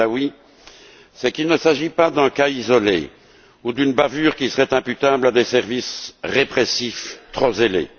Badaoui, c'est qu'il ne s'agit pas d'un cas isolé ou d'une bavure qui serait imputable à des services répressifs trop zélés.